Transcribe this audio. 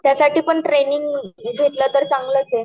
त्यासाठी पण ट्रेनिंग घेतलं तर चांगलच आहे